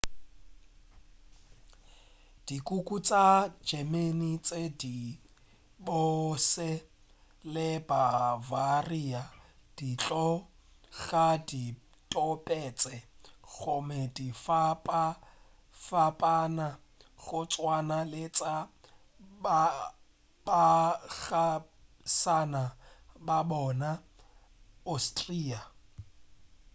dikuku tša german ke tše di bose le bavaria di tloga di topetše gomme di fapafapana go tswana le tša baagišane ba bona austria